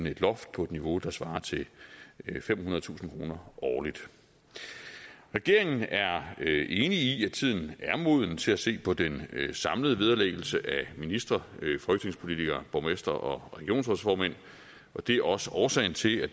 et loft på et niveau der svarer til femhundredetusind kroner årligt regeringen er enig i at tiden er moden til at se på den samlede vederlæggelse af ministre folketingspolitikere borgmestre og regionsrådsformænd og det er også årsagen til at